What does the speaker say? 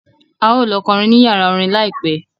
A ó lọ kọrin ní yàrá orin láìpẹ́